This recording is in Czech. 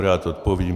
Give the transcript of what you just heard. Rád odpovím.